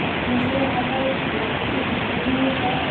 अब मुझे यहाँ पर ए किसी बिल्डिंग का अ --